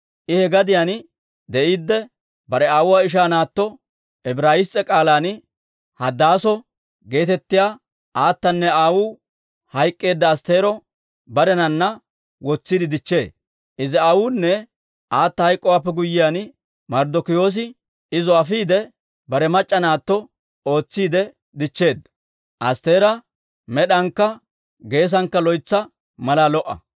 I he gadiyaan de'iidde, bare aawuwaa ishaa naatto, Ibrayis's'e k'aalan Hadaaso geetettiyaa aatanne aawuu hayk'k'eedda Astteero barenana wotsiide dichchee. Izi aawunne aata hayk'k'owaappe guyyiyaan, Marddokiyoosi izo afiide, bare mac'c'a naatto ootsiidde dichcheedda. Astteera med'ankka geesankka loytsa malaa lo"a.